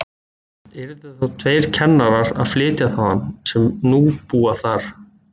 Yrðu þá þeir tveir kennarar að flytja þaðan, sem nú búa þar.